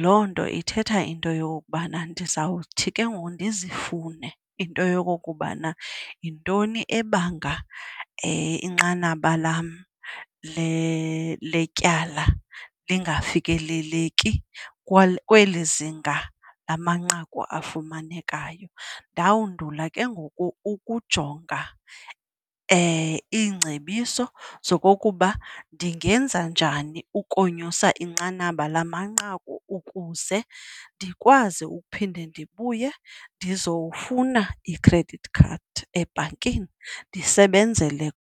Loo nto ithetha into yokokubana ndizawuthi ke ngoku ndizifune into yokokubana yintoni ebanga inqanaba lam letyala lingafikeleleki kweli zinga lamanqaku afumanekayo. Ndawundula ke ngoku ukujonga iingcebiso zokokuba ndingenza njani okonyusa inqanaba lamanqaku ukuze ndikwazi ukuphinda ndibuye ndizowufuna i-credit card ebhankini, ndisebenzele.